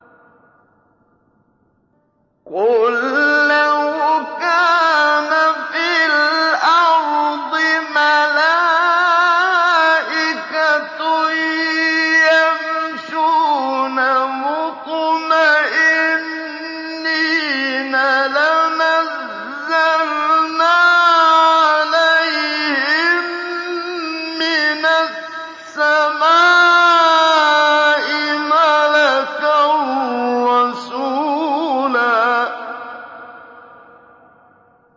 قُل لَّوْ كَانَ فِي الْأَرْضِ مَلَائِكَةٌ يَمْشُونَ مُطْمَئِنِّينَ لَنَزَّلْنَا عَلَيْهِم مِّنَ السَّمَاءِ مَلَكًا رَّسُولًا